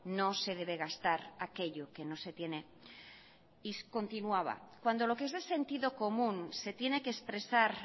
no se debe gastar aquello que no se tiene y continuaba cuando lo que es de sentido común se tiene que expresar